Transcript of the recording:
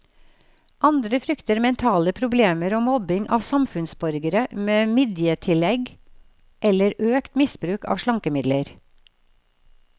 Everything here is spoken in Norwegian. Andre frykter mentale problemer og mobbing av samfunnsborgere med midjetillegg eller økt misbruk av slankemidler.